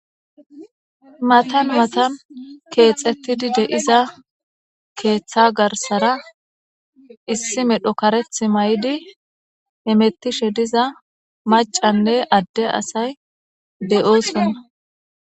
matan matan keexettidi de7iza keeththa garsara issi medho kareth may7idi emettishe diza macanne adde asay deyoosonna